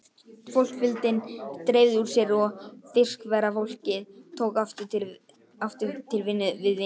Fólksfjöldinn dreifði úr sér og fiskverkafólkið tók aftur til við vinnu sína.